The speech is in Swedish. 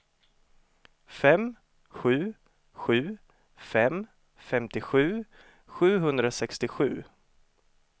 fem sju sju fem femtiosju sjuhundrasextiosju